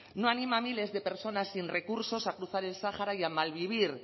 no anima a miles de personas sin recursos a cruzar el sáhara y a malvivir